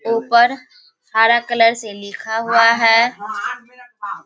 उपर हरा कलर से लिखा हुआ है।